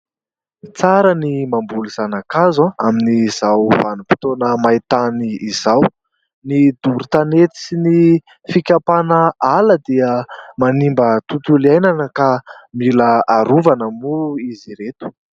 Tsara ny mamboly zana-kazo amin'izao vanim-potoana main-tany izao. Ny doro tanety sy ny fikapana ala dia manimba tontolo iainana ka mila harovana moa izy ireto.